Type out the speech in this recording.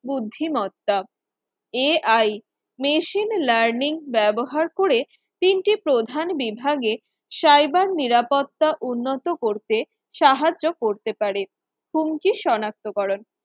বুদ্ধিমত্তা Ai Machine Learning ব্যবহার করে তিনটি প্রধান বিভাগে cyber নিরাপত্তা উন্নত করতে সাহায্য করতে পারে কুণ্ঠি শনাক্তকরণ